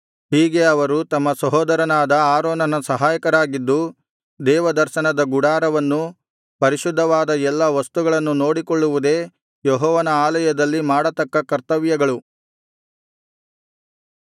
ಹೀಗೆ ಅವರು ತಮ್ಮ ಸಹೋದರನಾದ ಆರೋನನ ಸಹಾಯಕರಾಗಿದ್ದು ದೇವದರ್ಶನದ ಗುಡಾರವನ್ನೂ ಪರಿಶುದ್ಧವಾದ ಎಲ್ಲಾ ವಸ್ತುಗಳನ್ನು ನೋಡಿಕೊಳ್ಳುವುದೇ ಯೆಹೋವನ ಆಲಯದಲ್ಲಿ ಮಾಡತಕ್ಕ ಕರ್ತವ್ಯಗಳು